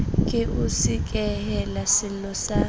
ke o sekehele sello sa